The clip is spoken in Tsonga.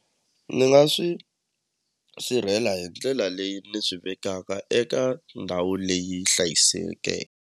Ni nga swi sirhelela hi ndlela leyi ni swi vekaka eka ndhawu leyi .